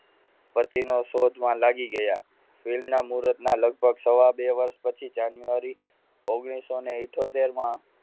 શોધમાં લાગી ગયા film ના મુરતના લગભગ સવા બે વર્ષ પછી જાન્યુઆરી ઓગણીસો ઇથોતેર માં